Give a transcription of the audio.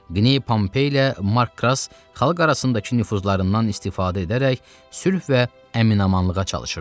Qney Pompey ilə Mark Kras xalq arasındakı nüfuzlarından istifadə edərək sülh və əmin-amanlığa çalışırdılar.